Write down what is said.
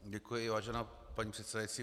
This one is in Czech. Děkuji, vážená paní předsedající.